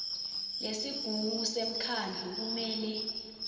lesigungu semkhandlu kumele